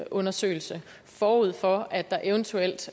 undersøgelse forud for at der eventuelt